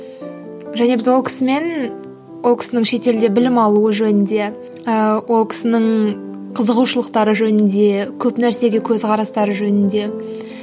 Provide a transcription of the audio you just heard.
және біз ол кісімен ол кісінің шетелде білім алуы жөнінде ыыы ол кісінің қызығушылықтары жөнінде көп нәрсеге көзқарастары жөнінде